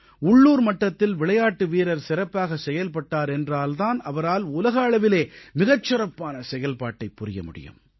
உள்ளூர் மட்டத்தில் விளையாட்டு வீரர் சிறப்பாகச் செயல்பட்டார் என்றால் தான் அவரால் உலக அளவிலே மிகச் சிறப்பான செயல்பாட்டைப் புரிய முடியும்